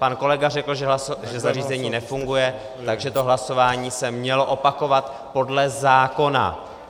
Pan kolega řekl, že zařízení nefunguje, takže to hlasování se mělo opakovat podle zákona.